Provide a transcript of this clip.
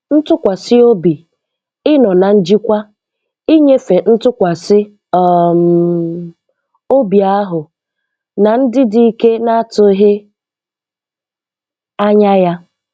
Ntụkwasị obi, Ịnọ na njikwa, inyefe ntụkwasị um obi ahụ, na ndị dike na-atụghị anya ya